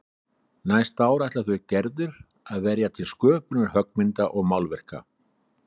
Næsta ári ætli þau Gerður að verja til sköpunar höggmynda og málverka.